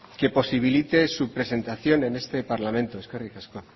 que posibilite su presentación en este parlamento eskerrik asko